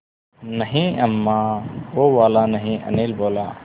नहीं अम्मा वो वाला नहीं अनिल बोला